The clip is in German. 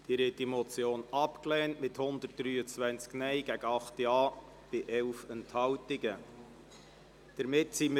Sie haben die Motion mit 123 Nein- gegen 8 Ja-Stimmen bei 11 Enthaltungen abgelehnt.